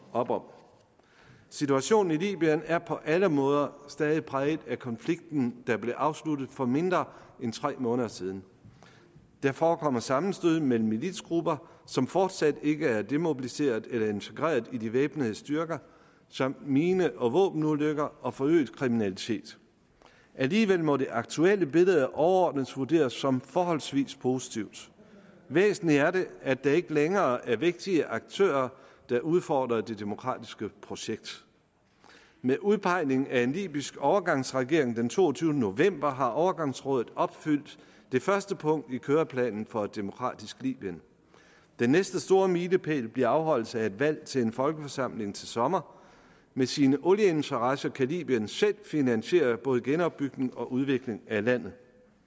op om situationen i libyen er på alle måder stadig præget af konflikten der blev afsluttet for mindre end tre måneder siden der forekommer sammenstød mellem militsgrupper som fortsat ikke er demobiliseret eller integreret i de væbnede styrker samt mine og våbenulykker og forøget kriminalitet alligevel må det aktuelle billede overordnet vurderes som forholdsvis positivt væsentligt er det at der ikke længere er vægtige aktører der udfordrer det demokratiske projekt med udpegningen af en libysk overgangsregering den toogtyvende november har overgangsrådet opfyldt det første punkt i køreplanen for et demokratisk libyen den næste store milepæl bliver afholdelse af et valg til en folkeforsamling til sommer med sine olieinteresser kan libyen selv finansiere både genopbygning og udvikling af landet